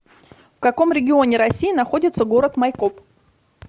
в каком регионе россии находится город майкоп